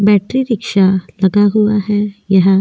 battery rickshaw लगा हुआ हैयह --